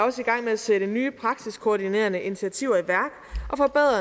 at sætte nye praktisk koordinerende initiativer i værk